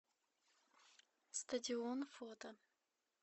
стадион фото